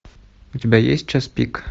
у тебя есть час пик